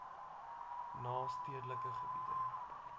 na stedelike gebiede